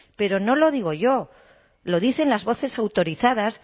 pero no lo digo yo lo dicen las voces autorizadas